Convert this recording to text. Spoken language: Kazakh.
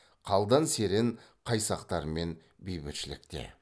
қалдан серен қайсақтармен бейбітшілікте